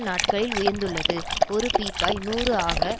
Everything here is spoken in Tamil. நாட்களில் உயர்ந்துள்ளது ஒரு பீப்பாய் நூறு ஆக